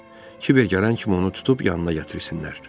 Kiver gələn kimi onu tutub yanına gətirsinlər.